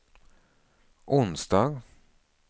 onsdag